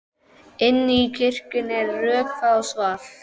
Inni í kirkjunni er rökkvað og svalt.